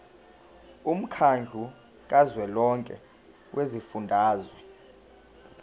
womkhandlu kazwelonke wezifundazwe